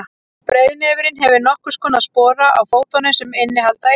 breiðnefurinn hefur nokkurs konar spora á fótunum sem innihalda eitur